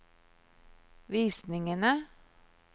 visningene